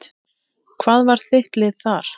Hvað var þitt lið þar?